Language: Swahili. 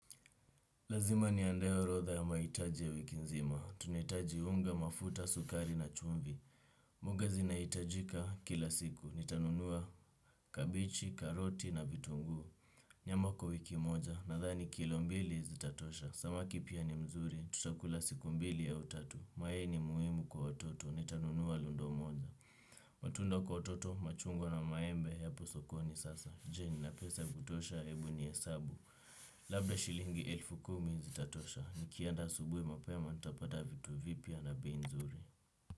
Lazima niandae orodha ya mahitaji ya wiki nzima. Tunahitaji unga, mafuta, sukari na chumvii. Mwanga zina hitajika kila siku. Nitanunuwa kabichi, karoti na vitungu. Nyama kwa wiki moja. Nadhani kilombili zitatosha. Samaki pia ni mzuri. Tutakula siku mbili ya utatu. Mayai ni muhimu kwa wototo. Nitanunuwa lundo moja. Matunda kwa wototo. Machungwa na maembe. Hapo sokoni sasa. Je nina pesa ya ku tosha. Ebu nuhesabu. Labda shilingi elfu kumi zitatosha. Nikienda asubuhi mapema, ntapata vitu vipya na bei nzuri.